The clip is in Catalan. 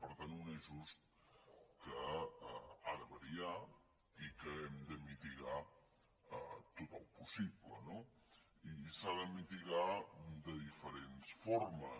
per tant un ajust que ha de variar i que hem de mitigar tant com sigui possible no i s’ha de mitigar de diferents formes